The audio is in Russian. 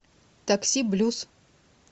такси блюз